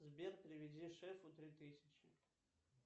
сбер переведи шефу три тысячи